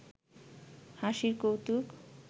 হাসির কৌতুক